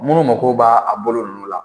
Munnu mako b'a a bolo nunnu la